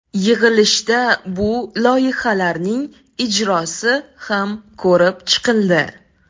Yig‘ilishda bu loyihalarning ijrosi ham ko‘rib chiqildi.